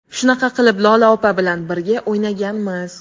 Shunaqa qilib Lola opa bilan birga o‘ynaganmiz.